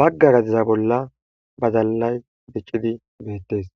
bagga gadeza bolla badalay diccidi beettes